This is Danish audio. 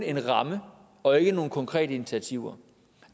en ramme og ikke nogen konkrete initiativer